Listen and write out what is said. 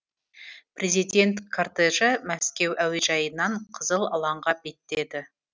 президент кортежі мәскеу әуежайынан қызыл алаңға беттеді